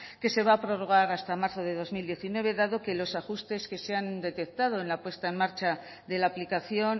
que se va a prorrogar hasta marzo de dos mil diecinueve dado que los ajustes que se han detectado en la puesta en marcha de la aplicación